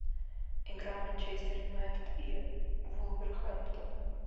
игра манчестер юнайтед и вулверхэмптон